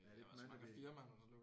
Er der ikke mange der